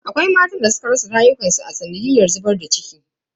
Akwai matan da suka rasa rayukansu a sanadiyan zubar da ciki.